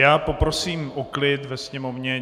Já poprosím o klid ve sněmovně.